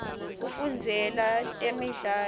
kufundzela temidlalo